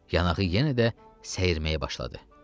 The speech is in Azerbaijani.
Yanağı yenə də səyirməyə başladı.